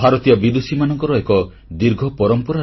ଭାରତୀୟ ବିଦୁଷୀମାନଙ୍କର ଏକଦୀର୍ଘ ପରମ୍ପରା ରହିଛି